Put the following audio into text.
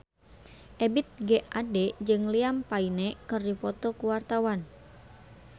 Ebith G. Ade jeung Liam Payne keur dipoto ku wartawan